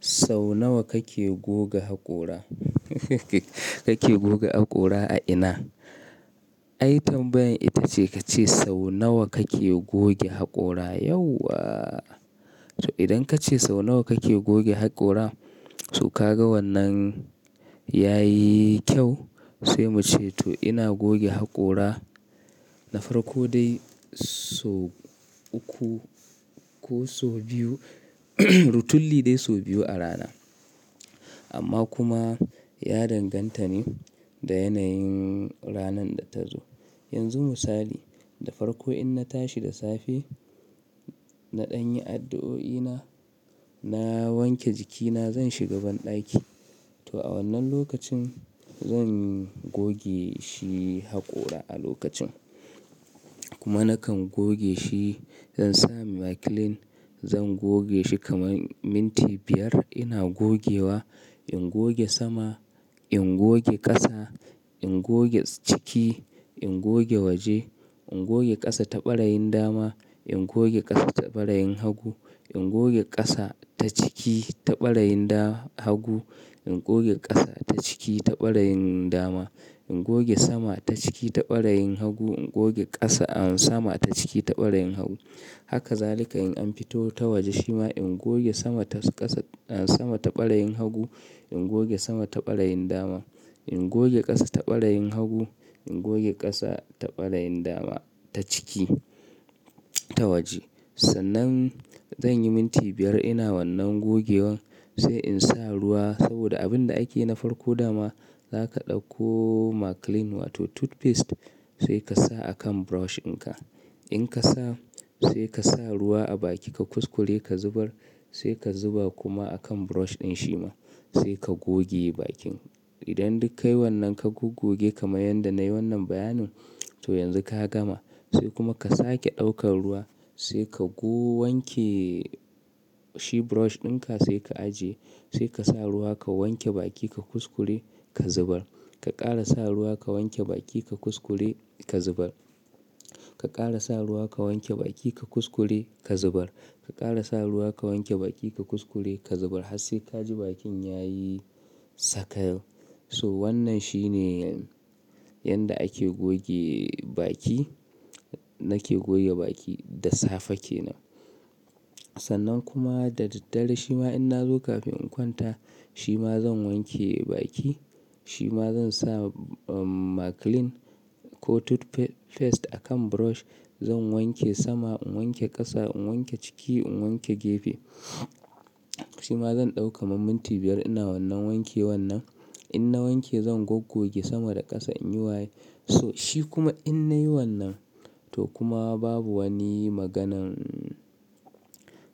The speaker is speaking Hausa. Sau nawa kake goga Haƙora? Kake goga haƙora a ina? Ai tambayan ita ce kace sau nawa kake goge hakora? Yauwa! So idan kace sau nawa kake goge hakora, so ka ga wannan yayi kyau sai muce to ina goge haƙora na farko dai so uku ko so biyu rutulli dai so biyu a rana. Amma kuma ya danganta ne da yanayin ranan da ta zo. Yanzu misali, da farko in na tashi da safe, naɗan yi addu'o'ina, na wanke jikina, zan shiga banɗaki. To a wannan lokacin zan goge shi hakora a lokacin. Kuma nakan goge shi, zan sa maclean, zan goge shi kaman minti biyar ina gogewa. In goge sama, in goge ƙasa, in goge ciki, in goge waje, in goge ƙasa ta ɓarayin dama, in goge ƙasa ta ɓarayin hagu, in goge ƙasa ta ciki ta ɓarayin da-hagu, in goge ƙasa ta ciki ta ɓarayin dama, in goge sama ta ciki ta ɓarayin hagu, in goge ƙasa-- ah sama ta ciki ta ɓarayin hagu. Haka zalika in an fito ta waje shima in goge sama ta ƙasa-- ah sama ta ɓarayin hagu, in goge sama ta ɓarayin dama, in goge ƙasa ta ɓarayin hagu, in goge ƙasa ta ɓarayin dama ta ciki ta waje. Sannan zan yi minti biyar ina wannan gogewan sai in sa ruwa saboda abin da ake yi na farko dama zaka ɗauko maclean wato toothpaste sai ka sa akan brush ɗin ka. In ka sa sai ka sa ruwa a baki ka kuskure ka zubar sai ka zuba kuma akan brush ɗin shi ma sai ka goge bakin. Idan duk kayi wannan ka gogoge kamar yadda na yi wannan bayanin to yanzu ka gama. Sai kuma ka sake ɗaukan ruwa sai ka go-- wanke shi brush dinka sai ka ajiye. Sai ka sa ruwa ka wanke baki ka kuskure ka zubar. Ka ƙara sa ruwa ka wanke baki ka kuskure ka zubar. Ka ƙara sa ruwa ka wanke baki ka kuskure ka zubar. Ka ƙara sa ruwa ka wanke baki ka kuskure ka zubar har sai kaji bakin yayi sakayau. So wannan shine yanda ake goge baki, nake goge baki da safe kenan. Sannan kuma da daddare shima in na zo kafin in kwanta shima zan wanke baki, shima zan sa maclean ko toothpaste akan brush zan wanke sama, in wanke ƙasa, in wanke ciki, in wanke gefe. Shima zan ɗau ka man minti biyar ina wannan wanke wannan. In na wanke zan goggoge sama da ƙasa in yi waye. So shi kuma in na yi wannan to kuma babu wani maganan,